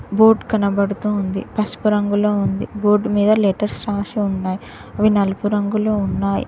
Boat కనబడుతూ ఉంది పసుపు రంగులో ఉంది బోర్డు మీద లెటర్స్ రాసి ఉన్నాయ్. అవి నలుపు రంగులో ఉన్నాయ్.